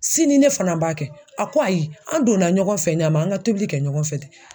Sini ne fana b'a kɛ. A ko ayi, an donna ɲɔgɔn fɛ ɲama an ŋa tobili kɛ ɲɔgɔn fɛ ten.